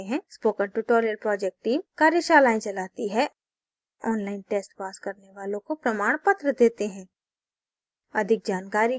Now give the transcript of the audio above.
spoken tutorial project team कार्यशालाएं चलाती है online test pass करने वालों को प्रमाणपत्र देते हैं